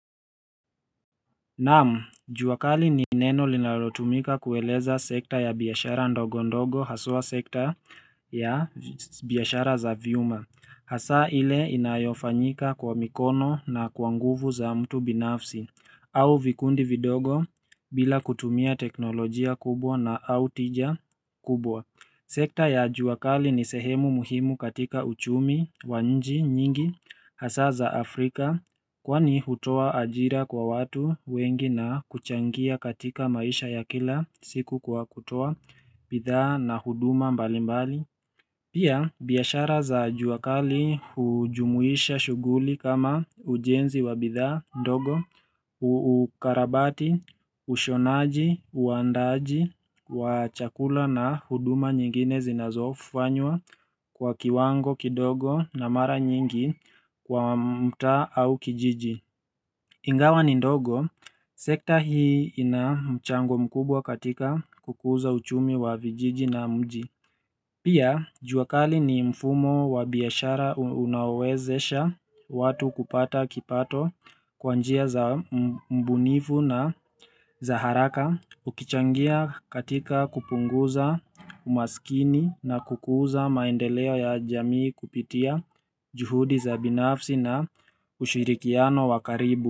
Naam, jua kali ni neno linalotumika kueleza sekta ya biashara ndogo ndogo haswa sekta ya biashara za vyuma Hasa ile inayofanyika kwa mikono na kwa nguvu za mtu binafsi au vikundi vidogo bila kutumia teknolojia kubwa na au tija kubwa sekta ya jua kali ni sehemu muhimu katika uchumi, wa nji, nyingi, hasa za Afrika, kwani hutoa ajira kwa watu wengi na kuchangia katika maisha ya kila siku kwa kutua, bidhaa na huduma mbali mbali. Pia biashara za jua kali hujumuisha shughuli kama ujenzi wa bidhaa ndogo, uukarabati, ushonaji, uandaaji, wa chakula na huduma nyingine zinazofanywa kwa kiwango kidogo na mara nyingi kwa mtaa au kijiji. Ingawa ni ndogo, sekta hii ina mchango mkubwa katika kukuza uchumi wa vijiji na mji. Pia, juakali ni mfumo wa biashara unaowezesha watu kupata kipato kwa njia za mbunifu na za haraka ukichangia katika kupunguza umasikini na kukuza maendeleo ya jamii kupitia juhudi za binafsi na ushirikiano wakaribu.